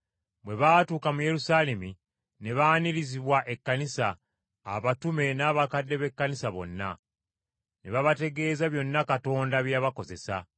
Bwe baatuuka mu Yerusaalemi ne baanirizibwa ekkanisa, abatume n’abakadde b’Ekkanisa bonna. Ne babategeeza byonna Katonda bye yabakozesa.